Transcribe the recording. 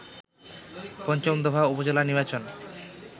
পঞ্চম দফা উপজেলা নির্বাচন